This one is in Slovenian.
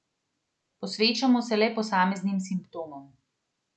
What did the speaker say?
Posvečamo se le posameznim simptomom.